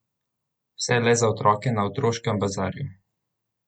Vse le za otroke na Otroškem bazarju!